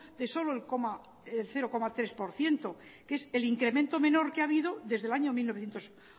de solo el cero coma tres por ciento que es el incremento menor que ha habido desde el año mil novecientos